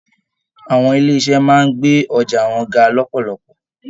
Àwọn ilé iṣẹ máa n gbé ọjà wọn ga lọpọlọpọ.